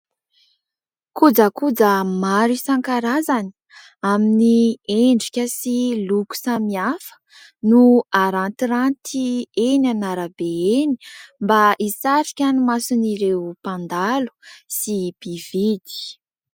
Kojakoja maro isankarazany amin'ny endrika sy loko samihafa no arantiranty eny an-arabe eny mba hisarika ny mason'ireo mpandalo sy mpividy.